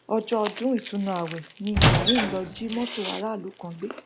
ọjọ ọdún ìtùnú ààwẹ mi ibrahim lóò jí mọtò aráàlú kan gbé